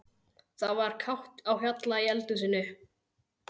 Það var kátt á hjalla í eldhúsinu.